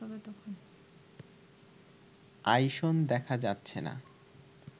আইসন দেখা যাচ্ছে না